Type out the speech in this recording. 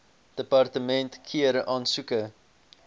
departement keur aansoeke